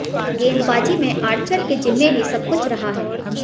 गेंदबाजी में आर्चर के जिम्मे ही सब कुछ रहा है